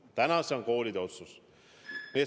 Täna on see koolide otsustada.